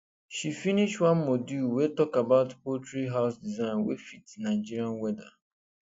she finish one module wey talk about poultry house design wey fit nigerian weather